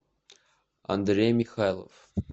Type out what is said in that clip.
андрей михайлов